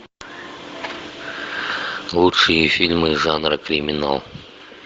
лучшие фильмы жанра криминал